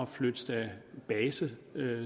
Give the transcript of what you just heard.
flytte base